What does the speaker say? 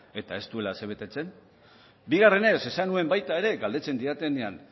eta ez duela asebetetzen bigarrenez esan nuen baita ere galdetzen didatenean